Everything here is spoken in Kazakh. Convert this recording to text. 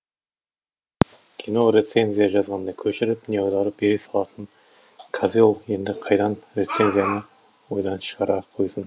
кино рецензия жазғанда көшіріп не аударып бере салатын козел енді қайдан рецензияны ойдан шығара қойсын